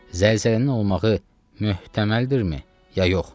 Zəlzələnin olmağı möhtəməldirmi, ya yox?